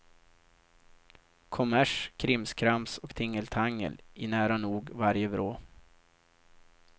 Kommers, krimskrams och tingeltangel i nära nog varje vrå.